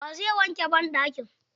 Wa zai wanke banɗakin?